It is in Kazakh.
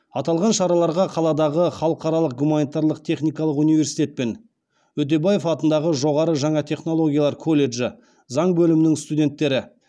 аталған шараларға қаладағы халықаралық гуманитарлық техникалық университет пен өтебаев атындағы жоғары жаңа технологиялар колледжі заң бөлімінің студенттері